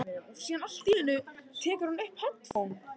Nægir þar að nefna risaeðlur, flugeðlur og spendýr.